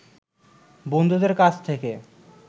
বন্ধুদের কাছ থেকে